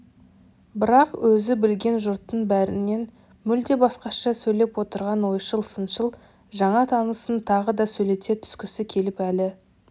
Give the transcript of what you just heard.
бірақ өзі білген жұрттың бәрінен мүлде басқаша сөйлеп отырған ойшыл-сыншыл жаңа танысын тағы да сөйлете түскісі келіп әлі